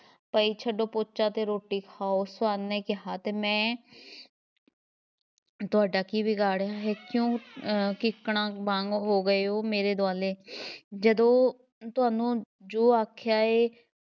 ਪਈ, ਛੱਡੋ ਪੋਚਾ ਤੇ ਰੋਟੀ ਖਾਓ ਸਵਰਨ ਨੇ ਕਿਹਾ ਤੇ ਮੈਂ ਤੁਹਾਡਾ ਕੀ ਵਿਗਾੜਿਆ ਹੈ, ਕਿਉਂ ਅਹ ਕੀਕਣਾਂ ਵਾਂਗ ਹੋ ਗਏ ਹੋ ਮੇਰੇ ਦੁਆਲੇ ਜਦੋਂ ਤੁਹਾਨੂੰ ਜੋ ਆਖਿਆ ਏ